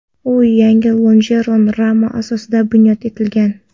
U yangi lonjeron rama asosida bunyod etilgan.